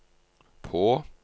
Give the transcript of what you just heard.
på